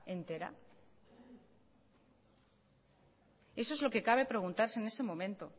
entera eso es lo que cabe preguntarse en este momento